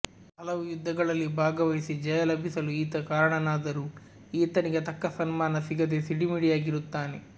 ಹಲವು ಯುದ್ಧಗಳಲ್ಲಿ ಭಾಗವಹಿಸಿ ಜಯ ಲಭಿಸಲು ಈತ ಕಾರಣನಾದರೂ ಈತನಿಗೆ ತಕ್ಕ ಸನ್ಮಾನ ಸಿಗದೆ ಸಿಡಿಮಿಡಿಯಾಗಿರುತ್ತಾನೆ